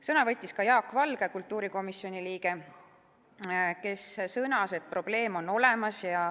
Sõna võttis ka Jaak Valge, kultuurikomisjoni liige, kes sõnas, et probleem on olemas.